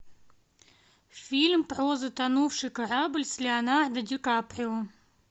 фильм про затонувший корабль с леонардо ди каприо